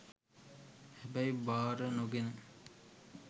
හැබැයි බාර නොගෙන